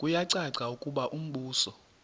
kuyacaca ukuba umbuso